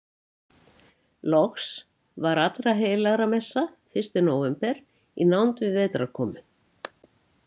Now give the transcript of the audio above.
Loks var allraheilagramessa fyrsti nóvember í nánd við vetrarkomu.